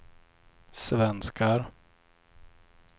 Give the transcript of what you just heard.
svenskar